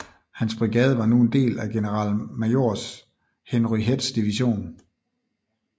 Hans brigade var nu en del af generalmajor Henry Heths division